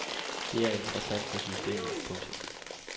Det er interessant for systemet. punktum